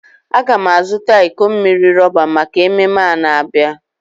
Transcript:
Agam a zuta iko mmiri roba maka ememe a na-abia.